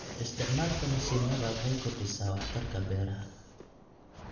Isticmaalka mishiinada waxay kordhisaa waxtarka beeraha.